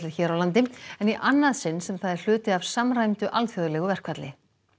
hér á landi en í annað sinn sem það er hluti af samræmdu alþjóðlegu verkfalli